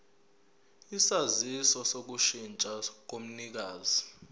isaziso sokushintsha komnikazi